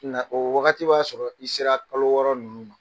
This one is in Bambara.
Nka o wagati b'a sɔrɔ i sera kalo wɔɔrɔ ninnu ma.